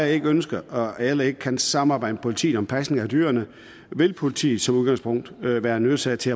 ikke ønsker og heller ikke kan samarbejde med politiet om pasning af dyrene vil politiet som udgangspunkt være nødsaget til